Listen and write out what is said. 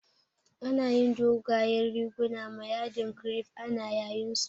Ana yin dogayen riguna ma yadin kirif, ana yayin su